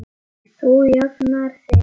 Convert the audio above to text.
Hann bograði yfir henni.